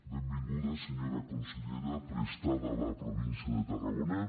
benvinguda senyora consellera prestada a la província de tarragona